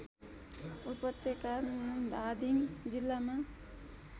उपत्यका धादिङ जिल्लामा